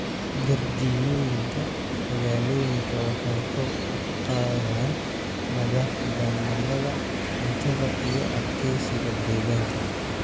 Jardiinooyinka magaalooyinka waxay kor u qaadaan madaxbannaanida cuntada iyo adkeysiga deegaanka.